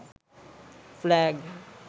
flag